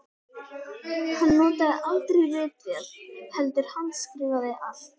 Hann notaði aldrei ritvél heldur handskrifaði allt.